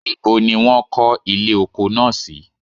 nibo ni won ko ile oko naa si?.